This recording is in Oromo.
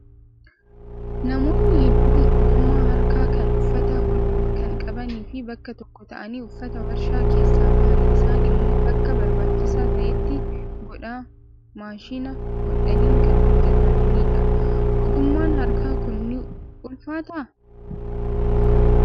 Namoonni hedduun ogummaa harkaa kan uffata hodhuuf kan qabanii fi bakka tokko ta'anii uffata warshaa keessaa bahan isaan immoo bakka barbaachisaa ta'etti godhaa maashina hodhaniin kan hojjatanidha. Ogummaan harkaa Kun ni ulfaataa?